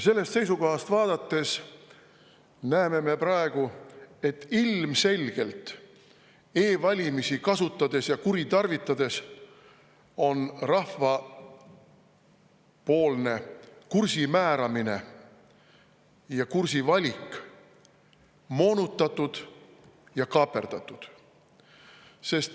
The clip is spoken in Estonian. Sellest seisukohast vaadates näeme me praegu, et ilmselgelt e-valimisi kasutades ja kuritarvitades on rahvapoolne kursi määramine, kursi valik moonutatud ja kaaperdatud.